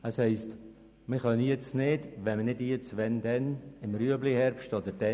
Es ist gesagt worden, das sei jetzt nicht möglich.